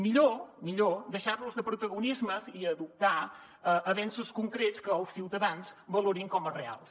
millor millor deixar nos de protagonismes i adoptar avenços concrets que els ciutadans valorin com a reals